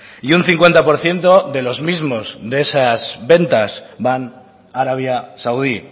y un cincuenta por ciento de los mismos de esas ventas van a arabia saudí